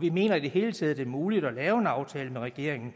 vi mener i det hele taget det er muligt at lave en aftale med regeringen